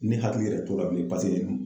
Ne hakili yɛrɛ t'o la bilen paseke